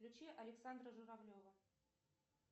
включи александра журавлева